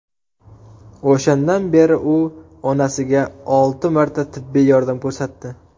O‘shandan beri u onasiga olti marta tibbiy yordam ko‘rsatdi.